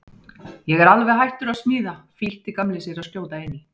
Ég er alveg hættur að smíða flýtti Gamli sér að skjóta inn í.